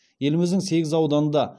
еліміздің сегіз ауданында